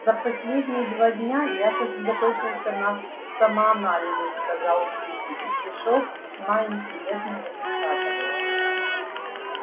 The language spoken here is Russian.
за последние два дня я сосредоточился на самоанализе сказал кьюти и пришёл с весьма интересным результатам